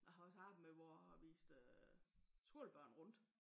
Jeg har også arbejdet med hvor jeg har vist skolebørn rundt